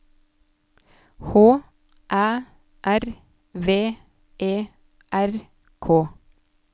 H Æ R V E R K